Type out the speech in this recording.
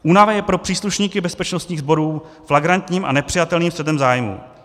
Únava je pro příslušníky bezpečnostních sborů flagrantním a nepřijatelným střetem zájmů.